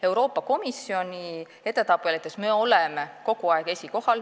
Euroopa Komisjoni edetabelites me oleme kogu aeg esikohal.